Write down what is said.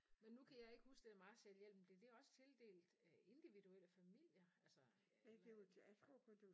Men nu kan jeg ikke huske det der Marshall-hjælpen blev det også tildelt øh individuelle familier altså eller